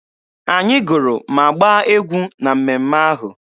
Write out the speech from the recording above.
Anyị gụrụ ma gbaa egwu na mmemme ahụ.